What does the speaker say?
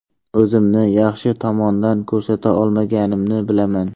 O‘zimni yaxshi tomondan ko‘rsata olmaganimni bilaman.